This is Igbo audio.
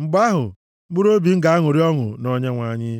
Mgbe ahụ, mkpụrụobi m ga-aṅụrị ọṅụ na Onyenwe anyị,